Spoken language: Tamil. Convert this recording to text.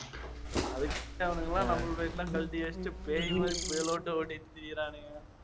அது முடியாதவனுங்க எல்லாம் number plate எல்லாம் கழட்டி வெச்சுட்டு பேய் மாதிரி புயலோட்டம் ஓட்டிட்டுத் திரியறானுங்க